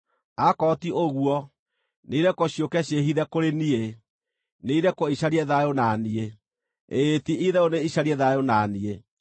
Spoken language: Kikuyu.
Akorwo ti ũguo, nĩirekwo ciũke ciĩhithe kũrĩ niĩ; nĩirekwo icarie thayũ na niĩ, ĩĩ ti-itherũ nĩicarie thayũ na niĩ.”